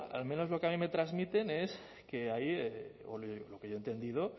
al menos lo que a mí me transmiten es que hay o lo que yo he entendido